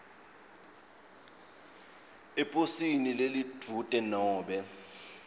eposini lelidvute nobe